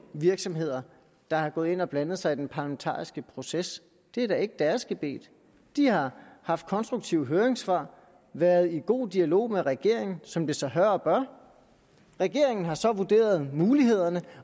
virksomheder der er gået ind og har blandet sig i den parlamentariske proces det er da ikke deres gebet de har haft konstruktive høringssvar og været i god dialog med regeringen som det sig hør og bør regeringen har så vurderet mulighederne